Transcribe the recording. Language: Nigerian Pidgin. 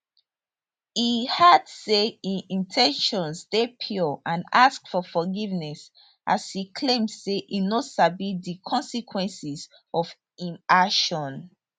e add say im in ten tions dey pure and ask for forgiveness as e claim say e no sabi di consequences of im action